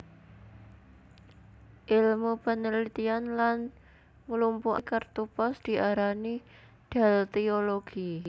Ilmu penelitian lan nglumpukaké kertu pos diarani deltiologi